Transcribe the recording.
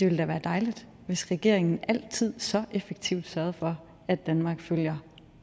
ville være dejligt hvis regeringen altid så effektivt sørgede for at danmark følger